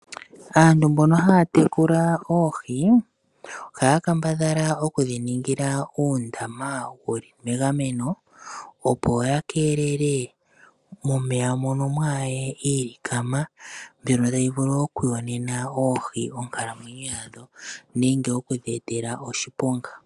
Aantu mbono haya tekula oohi. Ohaya kambadhala okudhi ningila uundama wuli megameno opo yakeelele momeya mwaahaye iilikama mbyono tayi vulu okuyonena oohi onkalamwenyo yadho nenge okudhi etela oshiponga.